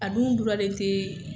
A dun len tɛ